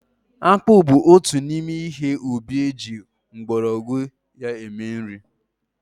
Akpụ bụ otu n'ime ihe ubi eji mgbọrọgwụ ya mere nri.